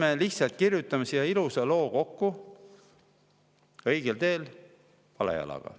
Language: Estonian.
Me lihtsalt kirjutame ilusa loo kokku, õigel teel, vale jalaga.